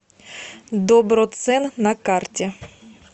доброцен на карте